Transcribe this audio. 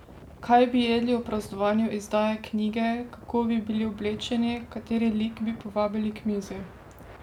Kaj bi jedli ob praznovanju izdaje knjige, kako bi bili oblečeni, kateri lik bi povabili k mizi?